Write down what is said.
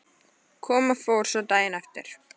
Kom og fór svo daginn eftir.